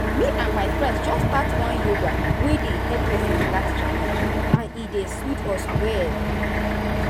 me and my friends just start one yoga wey dey help person relax challenge and e dey sweet us well.